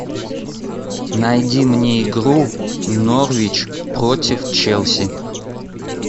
найди мне игру норвич против челси